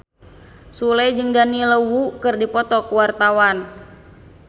Sule jeung Daniel Wu keur dipoto ku wartawan